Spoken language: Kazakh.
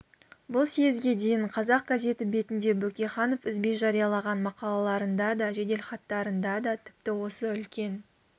бұл съезге дейін қазақ газеті бетінде бөкейханов үзбей жариялаған мақалаларында да жеделхаттарында да тіпті осы үлкен